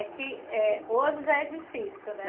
É que hoje já é difícil, né?